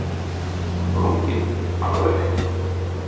Hödd Vilhjálmsdóttir: Ertu sprunginn alveg?